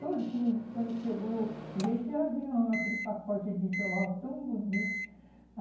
Todinho, quando chegou, veio de avião aquele pacote de enxoval tão bonito.